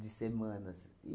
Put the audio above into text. De semanas.